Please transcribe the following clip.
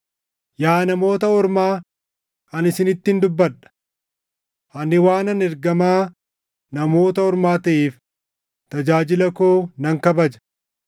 Yaa Namoota Ormaa, ani isinittin dubbadha. Ani waanan ergamaa Namoota Ormaa taʼeef, tajaajila koo nan kabaja.